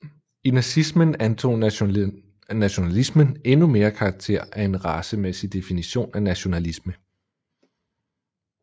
I nazismen antog nationalismen endnu mere karakter af en racemæssig definition af nationalisme